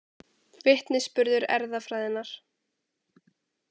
Vitnisburður erfðafræðinnar.